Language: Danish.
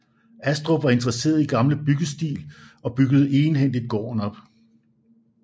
Astrup var interesseret i gammel byggeskik og byggede egenhændigt gården op